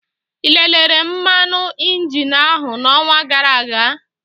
Ị lelere mmanụ injin áhụ n'ọnwa gara aga?